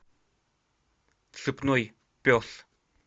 цепной пес